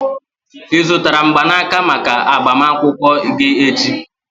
ị zụtara mgbanaka maka agbamakwụkwọ gị echi?